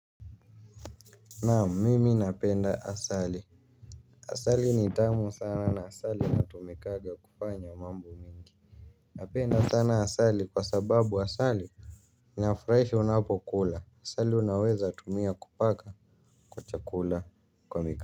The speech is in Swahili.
Naam mimi napenda asali. Asali ni tamu sana na asali inatumikanga kufanya mambo mengi. Napenda sana asali kwa sababu asali ninafurahishwa ninapokula asali unaweza tumia kupaka kwa chakula.